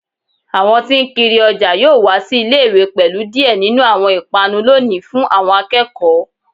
Awọn tí n kiri ọjà yoo wa si ile-iwe pẹlu diẹ ninu awọn ipanu loni fun awọn akẹkọ